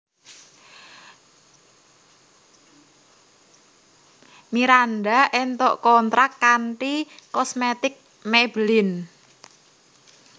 Miranda entuk kontrak kanthi kosmetik Maybelline